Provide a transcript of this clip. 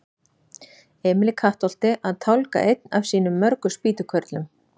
Emil í Kattholti að tálga einn af sínum mörgu spýtukörlum.